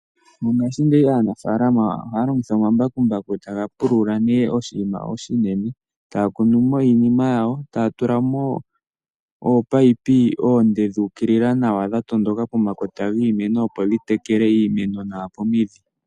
Mongaashingeyi aanafalama ohaya longitha omambakumbaku okupula iilwa iinene nokukuna mo iinima yawo ohaya tula mo wo ominino dhokutekela omeya pomakota giimeno .